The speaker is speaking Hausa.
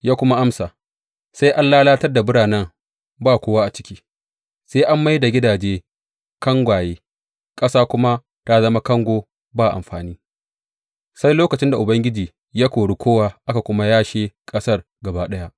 Ya kuma amsa, Sai an lalatar da biranen ba kowa a ciki, sai an mai da gidaje kangwaye ƙasa kuma ta zama kango ba amfani, sai lokacin da Ubangiji ya kori kowa aka kuma yashe ƙasar gaba ɗaya.